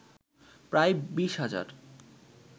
প্রায় ২০ হাজার